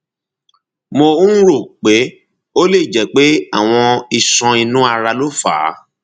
mo um rò pé ó lè jẹ pé àwọn iṣan inú ara ló fà á